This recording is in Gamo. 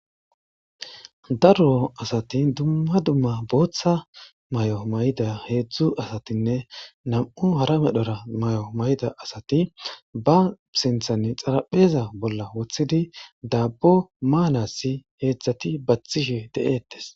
Daro asati dumma dumma boththa mayo mayida asatine nam'u harabara mayida asati ba xarapezan sinthara bolla wothidi dabbo manasi hezzati batishe bee'etes.